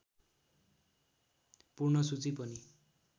पूर्ण सूची पनि